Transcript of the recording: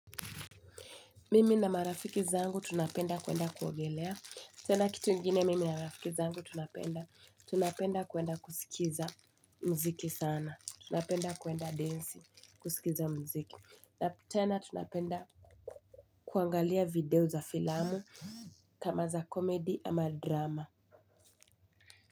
Mimi na marafiki zangu tunapenda kuenda kuogelea. Tena kitu ingine mimi na marafiki zangu tunapenda. Tunapenda kuwenda kusikiza mziki sana. Tunapenda kuenda densi, kusikiza mziki. Na tena tunapenda kuangalia video za filamu, kama za comedy ama drama.